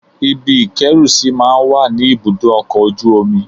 Ibi ìkẹ́rùsí máa ń wà ní ibùdó ọkọ̀ ojú omi